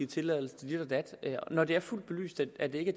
tilladelse til dit og dat når det er fuldt belyst at det ikke